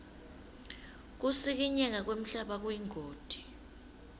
kusikinyeka kwemhlaba kuyingoti